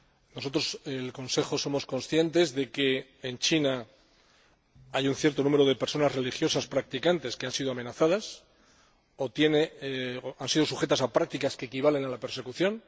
Nosotros, el Consejo, somos conscientes de que en China hay un cierto número de personas religiosas practicantes que han sido amenazadas o han sido objeto de prácticas que equivalen a la persecución.